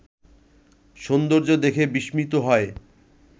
সৌন্দর্য দেখে বিস্মিত হয়